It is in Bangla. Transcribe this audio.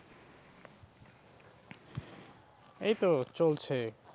এই তো চলছে।